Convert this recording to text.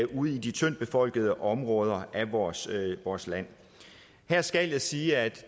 ude i de tyndt befolkede områder af vores vores land her skal jeg sige at